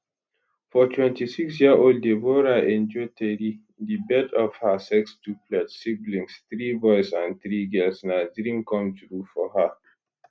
for 26 year old deborah enejueteri di birth of her sextuplets siblings three boys and three girls na dream come true for her